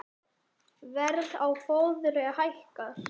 Verð á fóðri hækkar